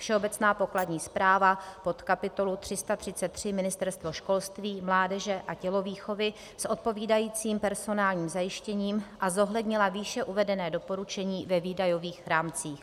Všeobecná pokladní správa pod kapitolu 333 Ministerstvo školství, mládeže a tělovýchovy s odpovídajícím personálním zajištěním a zohlednila výše uvedené doporučení ve výdajových rámcích;